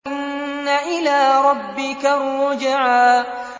إِنَّ إِلَىٰ رَبِّكَ الرُّجْعَىٰ